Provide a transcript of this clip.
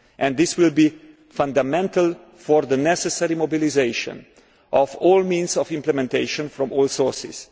This will be fundamental to the necessary mobilisation of all means of implementation from all sources.